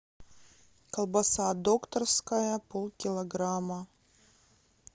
колбаса докторская полкилограмма